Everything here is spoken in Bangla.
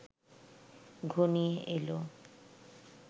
ঘনিয়ে এল